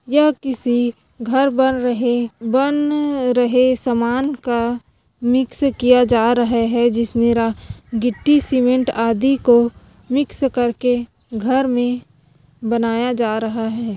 यह किसी घर बन रहे बन रहे सामान का मिक्स किया जा रहे है जिसमे गिट्टी सीमेंट अदि को मिक्स करके घर मे बनाया जा रहा है।